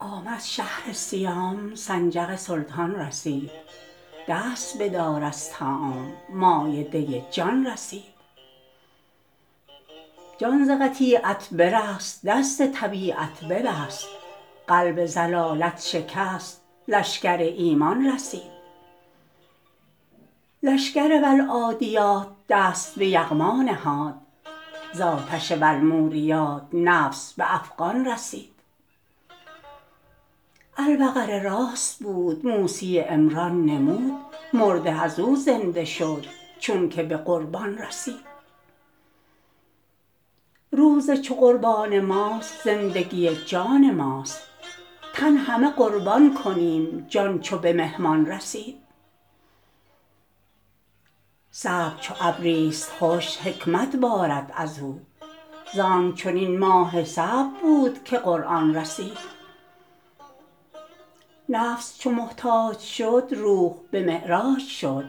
آمد شهر صیام سنجق سلطان رسید دست بدار از طعام مایده جان رسید جان ز قطیعت برست دست طبیعت ببست قلب ضلالت شکست لشکر ایمان رسید لشکر والعادیات دست به یغما نهاد ز آتش والموریات نفس به افغان رسید البقره راست بود موسی عمران نمود مرده از او زنده شد چونک به قربان رسید روزه چو قربان ماست زندگی جان ماست تن همه قربان کنیم جان چو به مهمان رسید صبر چو ابریست خوش حکمت بارد از او زانک چنین ماه صبر بود که قرآن رسید نفس چو محتاج شد روح به معراج شد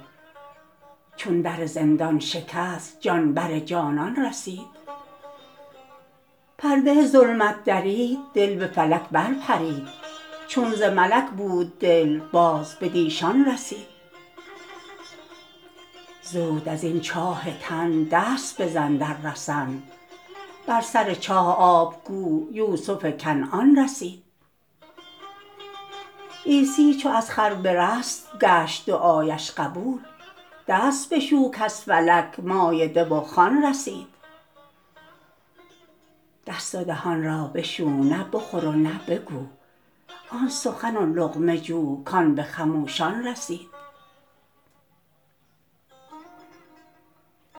چون در زندان شکست جان بر جانان رسید پرده ظلمت درید دل به فلک برپرید چون ز ملک بود دل باز بدیشان رسید زود از این چاه تن دست بزن در رسن بر سر چاه آب گو یوسف کنعان رسید عیسی چو از خر برست گشت دعایش قبول دست بشو کز فلک مایده و خوان رسید دست و دهان را بشو نه بخور و نه بگو آن سخن و لقمه جو کان به خموشان رسید